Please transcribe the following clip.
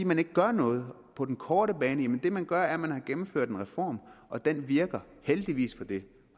man ikke gør noget på den korte bane det man gør er at man har gennemført en reform og den virker heldigvis for det